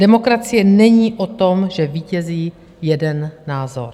Demokracie není o tom, že vítězí jeden názor.